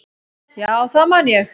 Já, það man ég